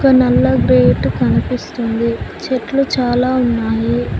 నల్ల గేటు కనిపిస్తుంది చెట్లు చాలా ఉన్నాయి.